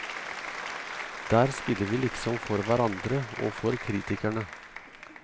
Der spiller vi liksom for hverandre og for kritikerne.